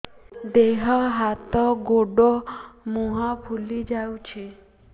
ଦେହ ହାତ ଗୋଡୋ ମୁହଁ ଫୁଲି ଯାଉଛି